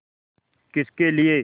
किसके लिए